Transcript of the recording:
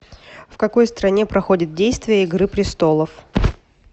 в какой стране проходит действие игры престолов